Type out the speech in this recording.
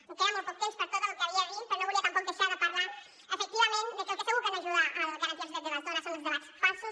em queda molt poc temps per a tot el que havia de dir però no volia tampoc deixar de parlar efectivament de que el que segur que no ajuda a garantir els drets de les dones són els debats falsos